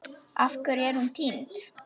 Af hverju er hún týnd?